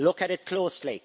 Look at it closely.